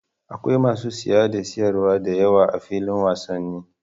Akwai masu saye da sayarwa da yawa a filin wasannin